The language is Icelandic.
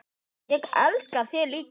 Ég elska þig líka.